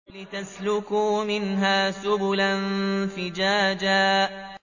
لِّتَسْلُكُوا مِنْهَا سُبُلًا فِجَاجًا